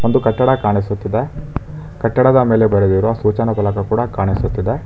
ಒಂದು ಕಟ್ಟಡ ಕಾಣಿಸುತ್ತಿದೆ ಕಟ್ಟಡದ ಮೇಲೆ ಬರೆದಿರುವ ಸೂಚನಾ ಫಲಕ ಕೂಡ ಕಾಣಿಸುತ್ತಿದೆ.